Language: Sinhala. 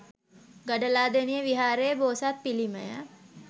ගඩලාදෙණිය විහාරයේ බෝසත් පිළිමය